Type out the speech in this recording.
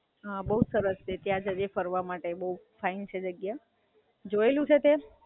હાં, બઉ સરસ છે ત્યાં જજે ફરવા માટે બઉ ફાઇન છે જગ્યા. જોયેલું છે તે?